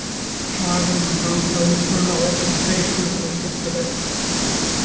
Sagan um franskan uppruna orðsins peysa er skemmtileg.